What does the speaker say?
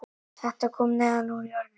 Þetta kom neðan úr jörðinni